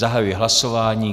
Zahajuji hlasování.